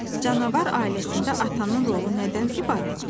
Canavar ailəsində atanın rolu nədən ibarətdir?